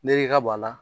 Ne ka b'a la